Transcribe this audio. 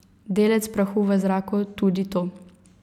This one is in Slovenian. Delec prahu v zraku, tudi to.